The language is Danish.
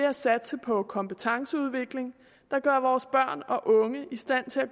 at satse på kompetenceudvikling der gør vores børn og unge i stand til at